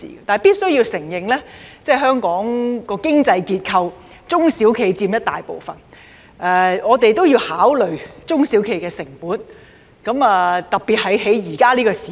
但是，必須承認的是，在香港的經濟結構中，中小企佔很大部分，我們須考慮中小企的成本，特別是現在這個時候。